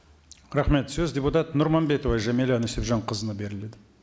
рахмет сөз депутат нұрманбетова жәмилә нүсіпжанқызына беріледі